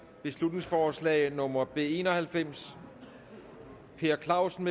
beslutningsforslag nummer b en og halvfems per clausen